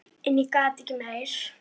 En ég gat ekki meir.